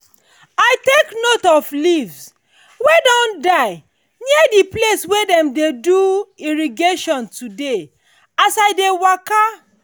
i take note of leave wey don die near the place wey them dey do irrigation today as i dey waka